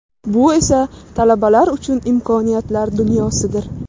Bu esa talabalar uchun imkoniyatlar dunyosidir.